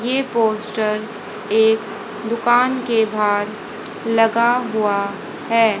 ये पोस्टर एक दुकान के बाहर लगा हुआ है।